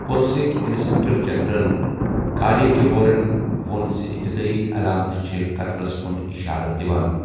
پُلسٕکۍ inspector general Kale کیہورَن وو٘ن زِ اِبتِدٲیی علامتہٕ چھے٘ 'قتلس' کُن اِشارٕ دِوان ۔